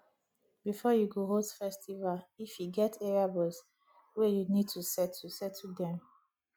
before you go host festival if e get area boys wey you need to settle settle them